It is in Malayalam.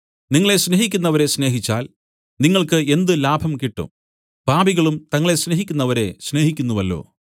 നിങ്ങളെ സ്നേഹിക്കുന്നവരെ സ്നേഹിച്ചാൽ നിങ്ങൾക്ക് എന്ത് ലാഭം കിട്ടും പാപികളും തങ്ങളെ സ്നേഹിക്കുന്നവരെ സ്നേഹിക്കുന്നുവല്ലോ